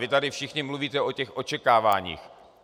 Vy tady všichni mluvíte o těch očekáváních.